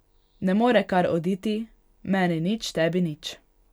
Ne more kar oditi, meni nič, tebi nič.